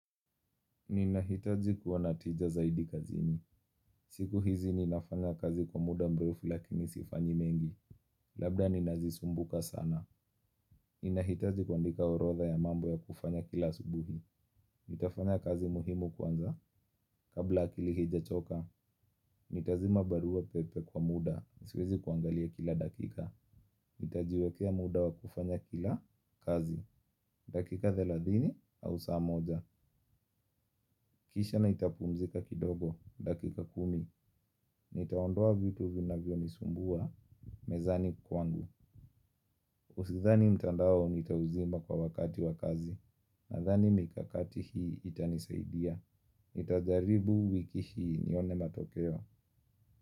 Ninahitaji kuwa na tija zaidi kazini. Siku hizi ninafanya kazi kwa muda mrefu lakini sifanyi mengi. Labda ninazisumbuka sana. Ninahitaji kuandika orodha ya mambo ya kufanya kila asubuhi. Nitafanya kazi muhimu kwanza. Kabla akili haijachoka, nitazima barua pepe kwa muda. Siwezi kuangalia kila dakika. Nitajiwekea muda wa kufanya kila kazi. Dakika thalathini au saa moja. Kisha nitapumzika kidogo. Dakika kumi. Nitaondoa vitu vinavyonisumbua mezani kwangu Usidhani mtandao nitauzima kwa wakati wa kazi. Nadhani mikakati hii itanisaidia. Nitajaribu wiki hii nione matokeo.